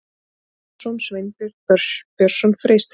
Stefánsson, Sveinbjörn Björnsson, Freysteinn